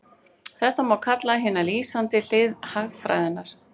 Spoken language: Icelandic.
Þetta má kalla hina lýsandi hlið hagfræðinnar.